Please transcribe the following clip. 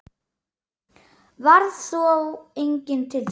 Varð þá enginn til þess.